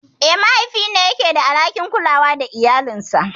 Eh, mahaifi ne yake da alhakin kulawa da iyalinsa.